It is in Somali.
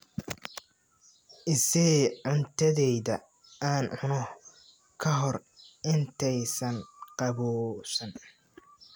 I sii cuntadayda aan cuno ka hor intaysan qabowsan.